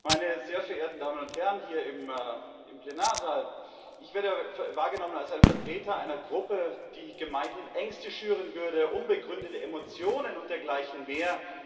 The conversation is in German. Frau Präsidentin, meine sehr verehrten Damen und Herren hier im Plenarsaal! Ich werde wahrgenommen als ein Vertreter einer Gruppe, die gemeinhin Ängste schüren würde, unbegründete Emotionen und dergleichen mehr.